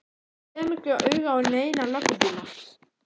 Ég kem ekki auga á neina löggubíla.